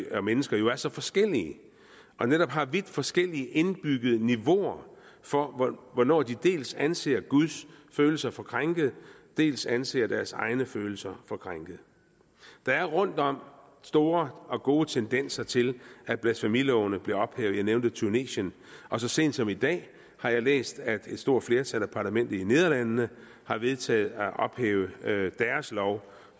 og mennesker jo er så forskellige og netop har vidt forskellige indbyggede niveauer for hvornår de dels anser guds følelser for krænkede dels anser deres egne følelser for krænkede der er rundtom store og gode tendenser til at blasfemilovene bliver ophævet jeg nævnte tunesien og så sent som i dag har jeg læst at et stort flertal i parlamentet i nederlandene har vedtaget at ophæve deres lov